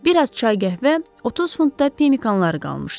Bir az çay, qəhvə, 30 funt da pemikanları qalmışdı.